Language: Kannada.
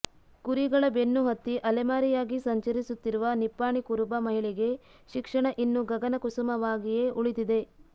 ಕುರಿಗಳ ಬೆನ್ನು ಹತ್ತಿ ಅಲೆಮಾರಿಯಾಗಿ ಸಂಚರಿಸುತ್ತಿರುವ ನಿಪ್ಪಾಣಿ ಕುರುಬ ಮಹಿಳೆಗೆ ಶಿಕ್ಷಣ ಇನ್ನೂ ಗಗನ ಕುಸುಮಾವಾಗಿಯೇ ಉಳಿದಿದೆ